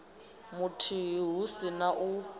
muthihi hu si na u